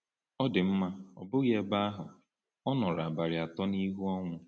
Ọ dị mma, ọ bụghị ebe ahụ — ọ nọrọ abalị atọ n’ihu ọnwụ.